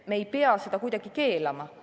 Me ei pea seda kuidagi keelama.